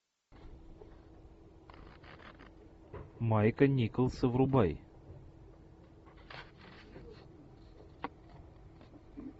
майка николса врубай